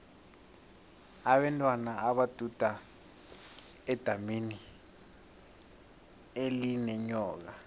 abentwana baduda edamini elinenyoka